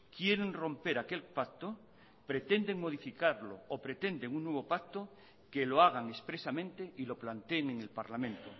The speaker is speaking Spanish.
quieren romper aquel pacto pretenden modificarlo o pretenden un nuevo pacto que lo hagan expresamente y lo planteen en el parlamento